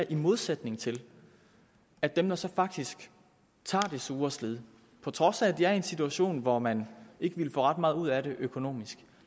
i modsætning til at dem der så faktisk tager det sure slid på trods af at de er i en situation hvor man ikke ville få ret meget ud af det økonomisk